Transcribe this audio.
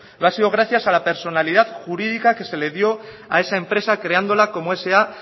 lo ha sido gracias a la personalidad jurídica que se le dio a esa empresa creándola como sa